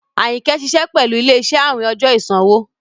Ayínkẹ́ ṣiṣẹ̀ pẹ̀lú ilẹ̀-iṣẹ̀ àwìn ọjọ́ ìṣanwọ̀.